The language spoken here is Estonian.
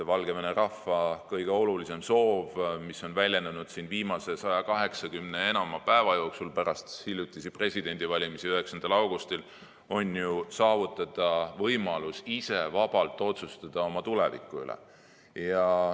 Valgevene rahva kõige olulisem soov, mis on väljendunud viimase 180 ja enama päeva jooksul pärast presidendivalimisi 9. augustil, on ju saavutada võimalus ise vabalt otsustada oma tuleviku üle.